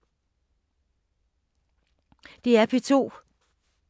DR P2